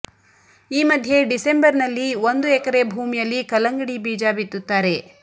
ಈ ಮಧ್ಯೆ ಡಿಸೆಂಬರ್ನಲ್ಲಿ ಒಂದು ಎಕರೆ ಭೂಮಿಯಲ್ಲಿ ಕಲ್ಲಂಗಡಿ ಬೀಜ ಬಿತ್ತುತ್ತಾರೆ